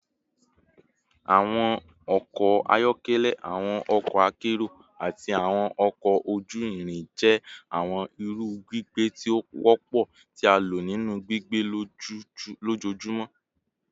Awọn ọkọ ayọkẹlẹ, awọn ọkọ akero, ati awọn ọkọ oju-irin jẹ awọn iru gbigbe ti o wọpọ ti a lo ninu gbigbe lojoojumọ